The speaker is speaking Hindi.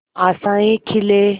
आशाएं खिले